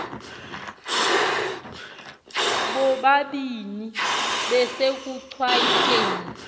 bobabini besekuchwayite ni